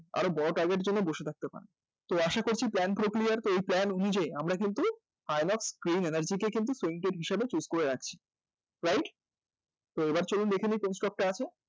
আরও বড় target এর জন্য বসে থাকতে পারেন তো আশা করছি plan প্রক্রিয়ায় এই plan অনুযায়ী আমরা কিন্তু energy কে কিন্তু হিসেবে choose করে রাখছি right? তো এবার চলুন দেখে নিই কোন stock টা আছে